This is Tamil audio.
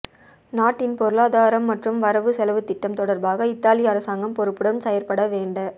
நாட்டின் பொருளாதாரம் மற்றும் வரவு செலவு திட்டம் தொடர்பாக இத்தாலி அரசாங்கம் பொறுப்புடன் செயற்பட வேண்ட